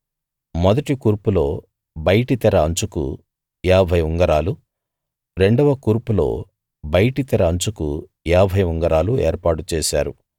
మొదటి కూర్పులో బయటి తెర అంచుకు ఏభై ఉంగరాలు రెండవ కూర్పులో బయటి తెర అంచుకు ఏభై ఉంగరాలు ఏర్పాటు చేశారు